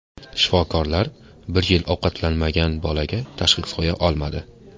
Shifokorlar bir yil ovqatlanmagan bolaga tashxis qo‘ya olmadi.